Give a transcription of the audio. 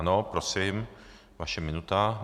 Ano, prosím, vaše minuta.